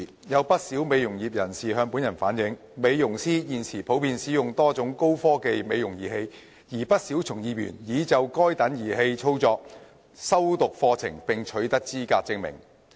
有不少美容業人士向本人反映，美容師現時普遍使用多種高科技美容儀器，而不少從業員已就該等儀器的操作修讀課程並取得資格證明。